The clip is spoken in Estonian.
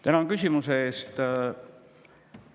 Tänan küsimuse eest!